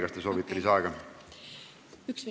Kas te soovite lisaaega?